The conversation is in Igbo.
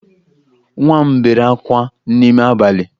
Nwa m bere oke ákwá n'ime abalị